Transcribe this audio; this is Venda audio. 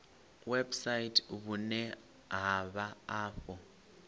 website vhune ha vha afho